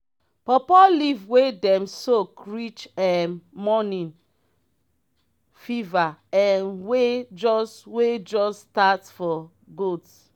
paw paw leave wey dem soak reach um morning feverf um wey just wey just start for goats.